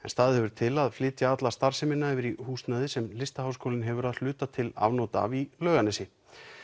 staðið hefur til að flytja alla starfsemina yfir í húsnæði sem Listaháskólinn hefur að hluta til afnot af í Laugarnesi